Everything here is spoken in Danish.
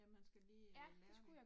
Ja, man skal lige lære det